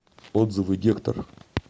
отзывы гектор